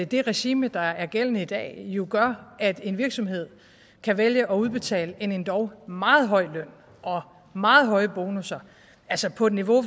det regime der er gældende i dag jo gør at en virksomhed kan vælge at udbetale en endog meget høj løn og meget høje bonusser altså på et niveau